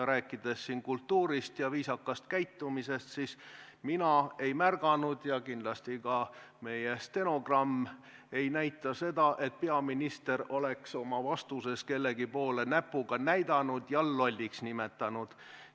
Mis puutub kultuuri ja viisakasse käitumisse, siis mina ei ole märganud – ja kindlasti ka meie stenogramm ei kajasta seda –, et peaminister oleks oma vastuses kellegi peale näpuga näidanud ja kedagi lolliks nimetanud.